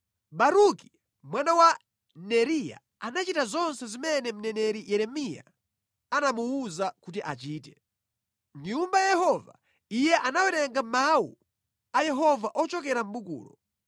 Baruki mwana wa Neriya anachita zonse zimene mneneri Yeremiya anamuwuza kuti achite. Mʼnyumba ya Yehova, iye anawerenga mawu a Yehova ochokera mʼbukulo.